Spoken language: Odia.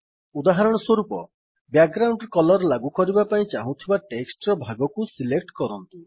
ଉଦାହରଣସ୍ୱରୁପ ବ୍ୟାକଗ୍ରାଉଣ୍ଡ୍ କଲର୍ ଲାଗୁ କରିବାକୁ ଚାହୁଁଥିବା ଟେକ୍ସଟ୍ ର ଭାଗକୁ ସିଲେକ୍ଟ କରନ୍ତୁ